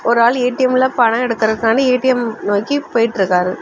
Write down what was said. ஒரு ஆளு ஏ_டி_எம் லெ பணொ எடுக்கர்துக்காண்டி ஏ_டி_எம் நோக்கி போயிட்டு இருக்காரு.